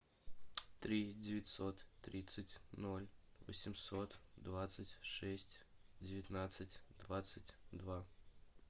три девятьсот тридцать ноль восемьсот двадцать шесть девятнадцать двадцать два